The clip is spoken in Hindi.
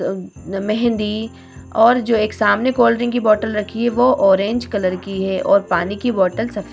मेहँदी और जो एक सामने कोल्ड्रिंक की बोटल रखी हुई है वो ऑरेंज कलर की है और पानी की बोटल सफेद --